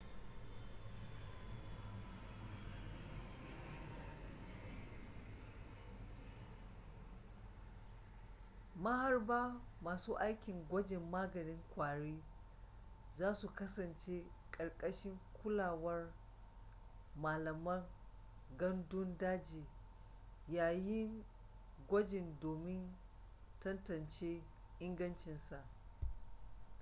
maharba masu aikin gwajin maganin kwari zasu kasance karkashin kulawar malaman gandun daji yayin gwajin domin tantance ingancinsa